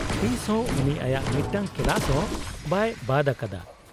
-ᱛᱤᱥ ᱦᱚᱸ ᱩᱱᱤ ᱟᱭᱟᱜ ᱢᱤᱫᱴᱟᱝ ᱠᱮᱞᱟᱥ ᱦᱚᱸ ᱵᱟᱭ ᱵᱟᱫ ᱟᱠᱟᱫᱟ ᱾